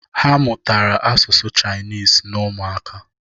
Ha mụtara asụsụ Chaịnisi n'ụmụaka.